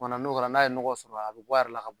Kuma na n'o kɛra n'a ye nɔgɔ sɔrɔ a bi bɔ a yɛrɛ la ka bɔ